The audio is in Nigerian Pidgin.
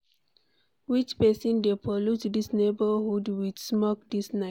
Which person dey pollute dis neighborhood wit smoke dis night